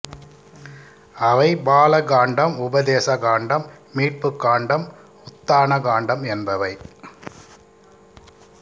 அவை பால காண்டம் உபதேச காண்டம் மீட்புக் காண்டம் உத்தான காண்டம் என்பவை